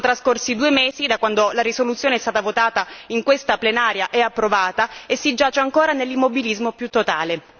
Sono trascorsi due mesi da quando la risoluzione è stata votata in questa plenaria e approvata e si giace ancora nell'immobilismo più totale.